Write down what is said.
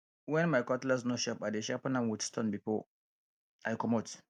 wen my cutlass no sharp i dey sharpen am wit stone before i comot